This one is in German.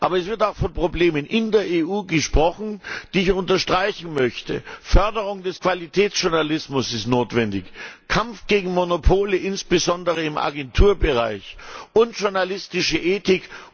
Aber es wird auch von Problemen in der EU gesprochen, die ich unterstreichen möchte die Förderung des Qualitätsjournalismus ist notwendig, de Kampf gegen Monopole, insbesondere im Agenturbereich, und journalistische Ethik.